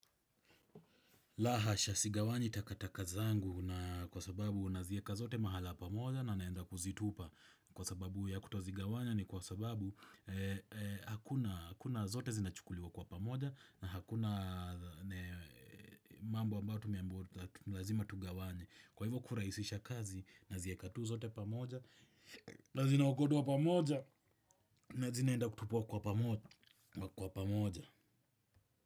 La hasha sigawanyi takataka zangu na kwa sababu nazieka zote mahala pamoja na naenda kuzitupa. Kwa sababu ya kutozigawanya ni kwa sababu hakuna, zote zinachukuliwa kwa pamoja na hakuna mambo ambayo tumeambiwa lazima tugawanye. Kwa hivyo kurahisisha kazi, nazieka tu zote pamoja na zinaokotwa pamoja na zinaenda kutupwa kwa pamoja.